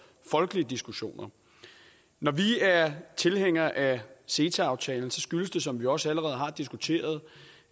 folkelige diskussioner når vi er tilhængere af ceta aftalen skyldes det som vi også allerede har diskuteret